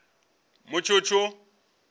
mutshutshu